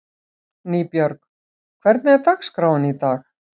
Nýbjörg, hvernig er dagskráin í dag?